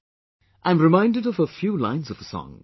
' I am reminded of a few lines of a song